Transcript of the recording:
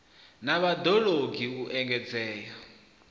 na vhad ologi u engedzea